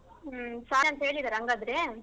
ಹ್ಮ್ ಸರಿ ಅಂತ ಹೇಳಿದಾರಾ ಹಂಗಾದ್ರೆ?